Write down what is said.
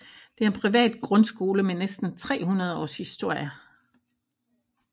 Det er en privat grundskole med næsten 300 års historie